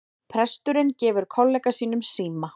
Presturinn gefur kollega sínum síma